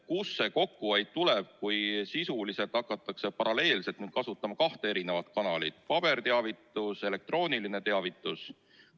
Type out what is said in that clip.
Kust see kokkuhoid tuleb, kui sisuliselt hakatakse paralleelselt kasutama kahte kanalit: paberteavitust ja elektroonilist teavitust?